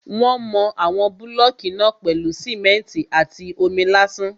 Wọ́n mọ àwọn búlọ̀kù náà pèlú simẹ́ntì àti omi lásán.